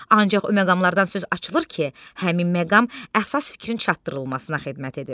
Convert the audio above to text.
Ancaq o məqamlardan söz açılır ki, həmin məqam əsas fikrin çatdırılmasına xidmət edir.